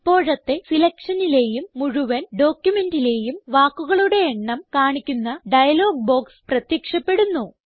ഇപ്പോഴത്തെ സിലക്ഷനിലേയും മുഴുവൻ ഡോക്യുമെന്റിലേയും വാക്കുകളുടെ എണ്ണം കാണിക്കുന്ന ഡയലോഗ് ബോക്സ് പ്രത്യക്ഷപ്പെടുന്നു